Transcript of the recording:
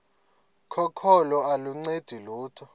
kokholo aluncedi lutho